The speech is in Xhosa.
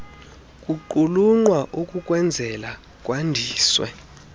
kuqulunqwa ukukwenzela kwandiswe